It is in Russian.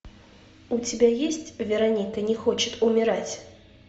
у тебя есть вероника не хочет умирать